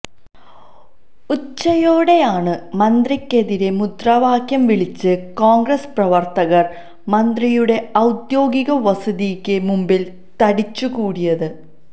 ഉച്ചയോടെയാണ് മന്ത്രിക്കെതിരെ മുദ്രാവാക്യം വിളിച്ച് കോണ്ഗ്രസ് പ്രവര്ത്തകര് മന്ത്രിയുടെ ഔദ്യോഗിക വസതിക്ക് മുമ്പില് തടിച്ചുകൂടിയത്